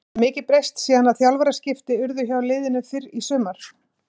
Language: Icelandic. Hefur mikið breyst síðan að þjálfaraskipti urðu hjá liðinu fyrr í sumar?